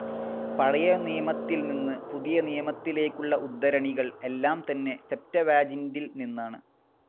പഴയനിയമത്തിൽ നിന്ന് പുതിയനിയമത്തിലേക്കുള്ള ഉദ്ധരണികൾ എല്ലാം തന്നെ സെപ്റ്റവാജിൻ്റിൽ നിന്നാണ്.